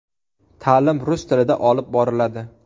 Ta’lim rus tilida olib boriladi.